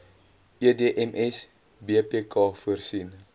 edms bpk voorsien